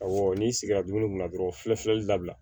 Awɔ n'i sigira dumuni kunna dɔrɔn fiyewu dabila